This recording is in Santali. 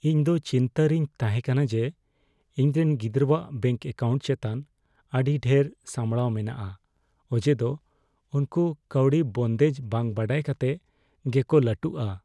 ᱤᱧᱫᱚ ᱪᱤᱱᱛᱟᱹ ᱨᱮᱧ ᱛᱟᱦᱮᱸᱠᱟᱱᱟ ᱡᱮ ᱤᱧᱨᱮᱱ ᱜᱤᱫᱽᱨᱟᱹᱣᱟᱜ ᱵᱮᱝᱠ ᱮᱠᱟᱣᱩᱱᱴ ᱪᱮᱛᱟᱱ ᱟᱹᱰᱤ ᱰᱷᱮᱨ ᱥᱟᱢᱲᱟᱣ ᱢᱮᱱᱟᱜᱼᱟ ᱚᱡᱮ ᱫᱚ ᱩᱱᱠᱩ ᱠᱟᱹᱣᱰᱤ ᱵᱚᱱᱫᱮᱡ ᱵᱟᱝ ᱵᱟᱰᱟᱭ ᱠᱟᱛᱮ ᱜᱮᱠᱚ ᱞᱟᱹᱴᱩᱜᱼᱟ ᱾